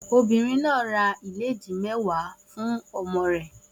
Obìnrin náà ra ìlédìí mẹ́wàá fún ọmọ rẹ̀